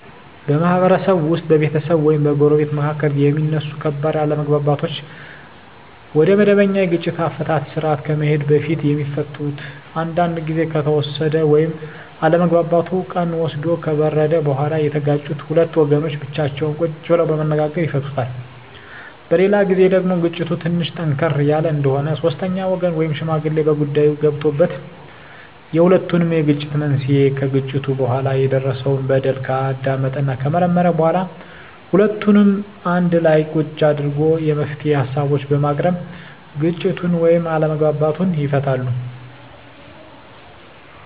በማህበረሰብ ውስጥ በቤተሰብ ወይም በጎረቤቶች መካከል የሚነሱ ከባድ አለመግባባቶች ወደመበኛ የግጭት አፈታት ስርአት ከመሄዱ በፊት የሚፈቱት አንዳንዱ ግዜ ከተወሰደ ወይም አለመግባባቱ ቀን ወስዶ ከበረደ በኋላ የተጋጩት ሁለት ወገኖች ብቻቸውን ቁጭ ብለው በመነጋገር ይፈቱታል። በሌላ ግዜ ደግሞ ግጭቱ ትንሽ ጠንከር ያለ እንደሆነ ሶስተኛ ወገን ወይም ሽማግሌ በጉዳይዮ ገብቶበት የሁለቱንም የግጭት መንሴና ከግጭቱ በኋላ የደረሰው በደል ካዳመጠና ከመረመረ በኋላ ሁለቱንም አንድላ ቁጭ አድርጎ የመፍትሄ ሀሳቦችን በማቅረብ ግጭቱን ወይም አለመግባባቱን ይፈታል።